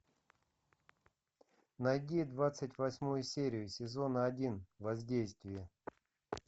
найди двадцать восьмую серию сезона один воздействие